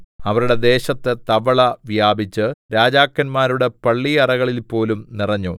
അവരുടെ ദേശത്ത് തവള വ്യാപിച്ച് രാജാക്കന്മാരുടെ പള്ളിയറകളിൽപോലും നിറഞ്ഞു